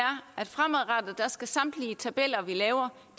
at fremadrettet skal samtlige tabeller vi laver